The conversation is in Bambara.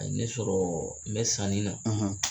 A ne sɔrɔ n bɛ sanni na.